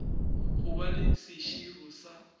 go ba le seširo sa